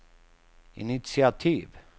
initiativ